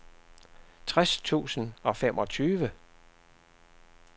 tres tusind og femogtyve